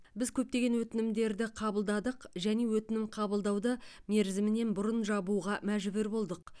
біз көптеген өтінімдерді қабылдадық және өтінім қабылдауды мерзімінен бұрын жабуға мәжбүр болдық